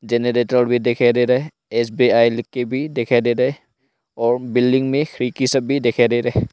generator भी दिखाई दे रहा है एस_बी_आई लिखके भी दिखाई दे रहे और बिल्डिंग में खिड़की सब भी दिखाई दे रहे--